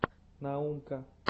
наумка